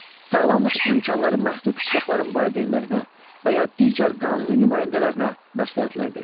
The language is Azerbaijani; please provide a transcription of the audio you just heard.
Sağlamlıq imkanları məhdud uşaqların valideynlərinə və ya digər qanuni nümayəndələrinə məsləhətlər vermək.